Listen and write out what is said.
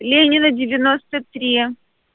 ленина девяноста три